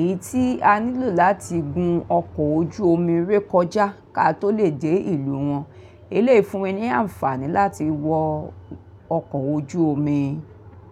èyí tí a nílò láti gun ọkọ̀ ojú omi ré kọjá ka tó lè dé ìlú wọn. Eléyìí fúnni ní àǹfààní láti wọ ọkọ̀ ojú omi.